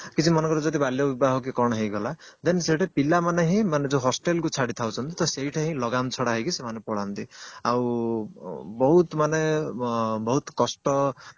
କିଛି ମନେକର ଯଦି ବାଲ୍ୟ ବିବାହ କି କଣ ହେଇଗଲା then ସେଇଠି ପିଲାମାନେ ହିଁ ମାନେ ଯୋଉ hostel କୁ ଛାଡି ଦଉଛନ୍ତି ତ ସେଇଟା ହିଁ ଲଗାମ ଛଡା ହେଇକି ସେମାନେ ପଳାନ୍ତି ଆଉ ବହୁତ ମାନେ ଅ ବହୁତ କଷ୍ଟ